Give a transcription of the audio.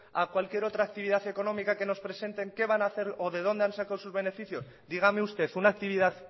a cualquier otra actividad económica que nos presenten qué van a hacer o de dónde han sacado sus beneficios dígame usted una actividad